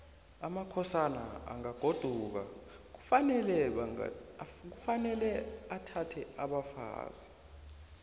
amasokana angagoduka kufanele athathe abafazi